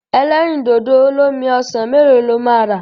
Ẹlẹ́rìndòdò olómi ọsàn mélòó lo máa rà?